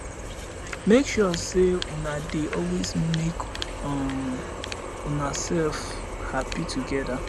mek sure sey una dey always mek um unasef hapi togeda